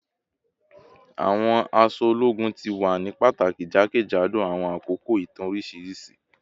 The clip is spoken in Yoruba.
Awọn aṣọ ologun ti wa ni pataki jakejado awọn akoko itan oriṣiriṣi